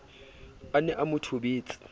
a ne a mo thobetse